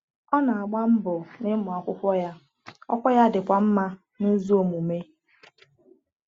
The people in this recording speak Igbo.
Ọ na-agba mbọ n’ịmụ akwụkwọ ya, ọkwa ya dịkwa mma n’ụzọ omume.